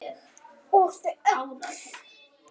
Og þau öll.